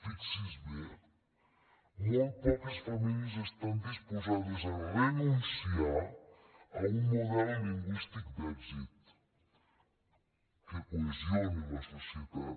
fixi s’hi bé molt poques famílies estan disposades a renunciar a un model lingüístic d’èxit que cohesiona la societat